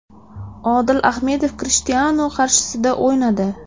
Odil Ahmedov Krishtianu qarshisida o‘ynadi.